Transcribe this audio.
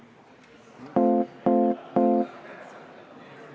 Kas siis, kui ettekandja ei ole saadiku nime nimetanud, ei ole tal õigust repliigile?